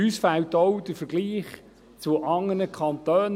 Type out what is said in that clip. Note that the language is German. Uns fehlt auch der Vergleich mit anderen Kantonen.